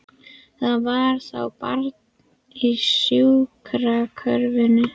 Það var þá barn í sjúkrakörfunni!